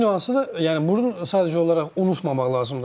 Bir nüansı da, yəni bunu sadəcə olaraq unutmamaq lazımdır.